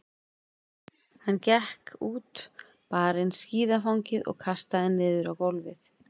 Hann gekk út, bar inn skíðafangið og kastaði niður á gólfið.